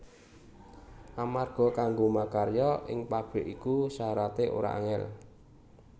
Amarga kanggo makarya ing pabrik iku syarate ora angel